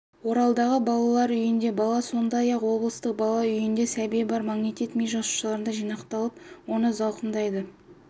оралдағы балалар үйінде бала сондай-ақ облыстық бала үйінде сәби бар магнетит ми жасушаларында жинақталып оны зақымдайтын